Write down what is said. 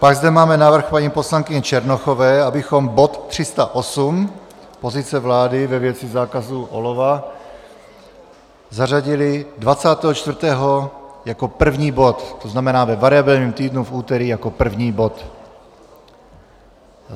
Pak zde máme návrh paní poslankyně Černochové, abychom bod 308, pozice vlády ve věci zákazu olova, zařadili 24. jako první bod, to znamená ve variabilním týdnu v úterý jako první bod.